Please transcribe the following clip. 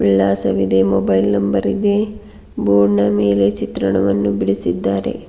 ವಿಳಾಸವಿದೆ mobile number ಇದೆ ಬೋರ್ಡ್ನ ಮೇಲೆ ಚಿತ್ರವನ್ನು ಬಿಡಿಸಿದ್ದಾರೆ.